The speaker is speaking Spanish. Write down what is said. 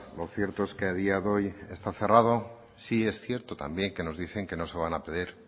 lo cierto es que a día de hoy está cerrado sí es cierto también que nos dicen que no se van a